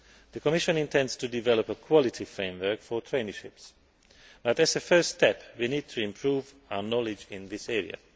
The Commission intends to develop a quality framework for traineeships but, as a first step, we need to improve our knowledge in this area.